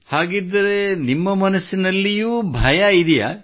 ಹಾಗಿದ್ದರೆ ನಿಮ್ಮ ಮನಸ್ಸಿನಲ್ಲಿಯೋ ಭಯವಿದೆಯೇ